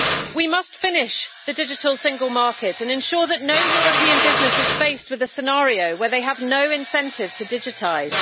We must finish the digital single market and ensure that no European business is faced with the scenario where they have no incentive to digitise.